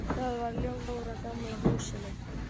Það var ljós í öllum gluggum á stóra, gamla húsinu.